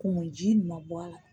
Kumu ji nin ma bɔ a la